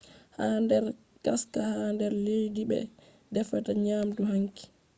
ha nder ngaska ha nder leddi ɓe defata nyamdu hangi